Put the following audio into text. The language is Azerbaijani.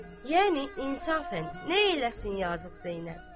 Yəni insafən nə eləsin yazıq Zeynəb.